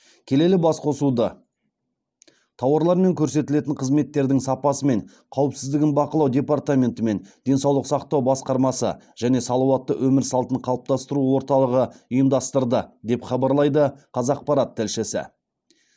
келелі басқосуды тауарлар мен көрсетілетін қызметтердің сапасы мен қауіпсіздігін бақылау департаментенті мен денсаулық сақтау басқармасы және салауатты өмір салтын қалыптастыру орталығы ұйымдастырды деп хабарлайды қазақпарат тілшісі